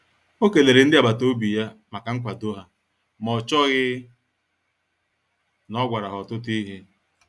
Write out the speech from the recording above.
O kelere ndi agbata obi ya maka nkwado ha, ma o chọghị na o gwara ha ọtụtụ ihe.